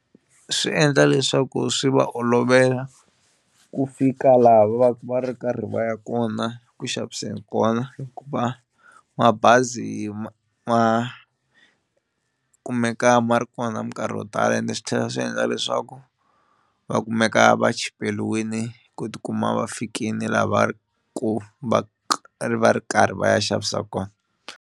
Swi endla leswaku swi va olovela ku fika laha va va ri karhi va ya kona kuxaviseni kona hikuva mabazi ma ma kumeka ma ri kona minkarhi yo tala ende swi tlhela swi endla leswaku va kumeka va chipeliwini ku tikuma va fikini la va ri ku va ri va ri karhi va ya xavisa kona.